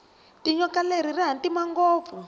tinyoka leri rihhatima ngopfu